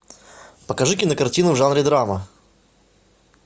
покажи кинокартину в жанре драма